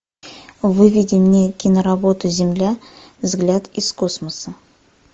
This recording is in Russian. выведи мне киноработу земля взгляд из космоса